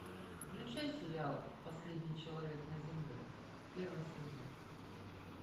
включай сериал последний человек на земле первый сезон